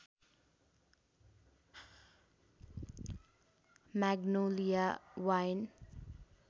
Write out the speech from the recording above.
magnolia wine